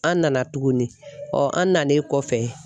An nana tuguni an nanen kɔfɛ